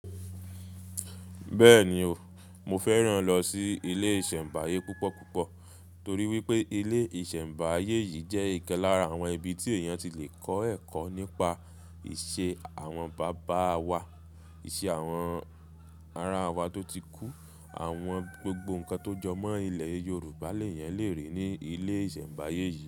Bẹ́ẹ̀ni o, mo fẹ́ràn lọ sí ilé ìsẹ̀mbáyé púpọ̀ púpọ̀ torí wípé ilé ìsẹ̀mbáyé yìí jẹ́ ìkan lára àwọn ibi tí èèyàn ti le kọ́ ẹ̀kọ́ nípa ìṣe àwọn bàbá wa, ìṣe àwọn aráa wa tó ti kú, àwọn gbogbo nǹkan tó jọ mọ́ ilẹ̀ Yorùbá léyàn lè ríi ní ilé ìsẹ̀mbáyé yìí.